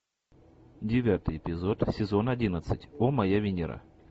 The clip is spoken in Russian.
девятый эпизод сезон одиннадцать о моя венера